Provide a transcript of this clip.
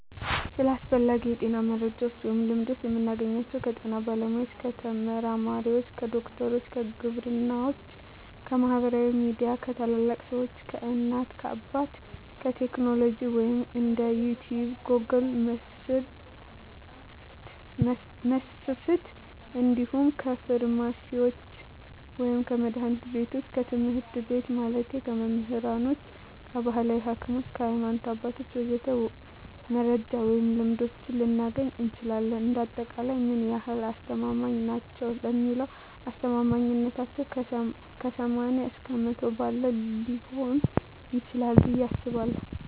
ስለ አስፈላጊ የጤና መረጃ ወይም ልምዶች የምናገኘው ከጤና ባለሙያ፣ ከተመራማሪዎች፣ ከዶክተሮች፣ ከግብርናዎች፣ ከማህበራዊ ሚዲያ፣ ከታላላቅ ሰዎች፣ ከእናት አባት፣ ከቴክኖሎጂ ወይም እንደ ዩቲቭ ጎግል% መስፍፍት እንዲሁም ከፍርማሲስቶች ወይም ከመድሀኒት ቢቶች፣ ከትምህርት ቤት ማለቴ ከመምህራኖች፣ ከባህላዊ ሀኪሞች፣ ከሀይማኖት አባቶች ወዘተ..... መረጃ ወይም ልምዶች ልናገኝ እንችላለን። እንደ አጠቃላይ ምን ያህል አስተማማኝ ናቸው ለሚለው አስተማማኝነታው ከ80% እስከ 100% ባለው ሊሆን ይችላል ብየ አስባለሁ።